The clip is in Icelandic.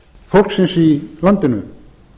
fólksins í landinu